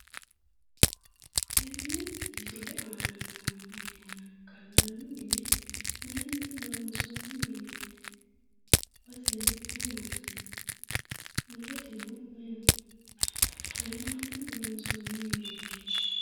Tenne misile aana no minenna gallanni mine mayyinni loonsonni mineeti? Baseno maamaati? mulesino may no?qoleno mayinni loonsoonni mineeti?